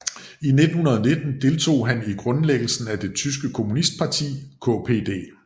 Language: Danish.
I 1919 deltog han i grundlæggelsen af det tyske kommunistparti KPD